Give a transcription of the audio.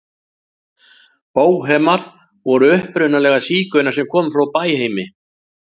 Bóhemar voru upprunalega sígaunar sem komu frá Bæheimi.